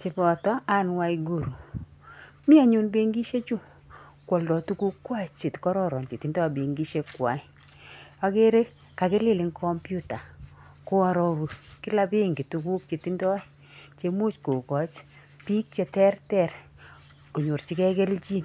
cheboto Anne Waiguru. Mi anyun benkishechu koaldoi tugukwak chekororon chetindoi benkishekwai. Akere kakilil eng computer koaroru kila benki tuguk chetindoi chemuch kokooch biik cheterter konyorjigei kelchin.